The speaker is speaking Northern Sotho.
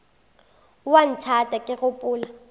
o a nthata ke gopola